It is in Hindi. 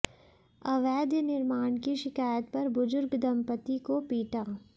अवैध निर्माण की शिकायत पर बुजुर्ग दंपति को पीटा